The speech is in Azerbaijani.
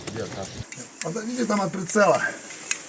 Aza gedib tam atış yeri, tam o qaraçı.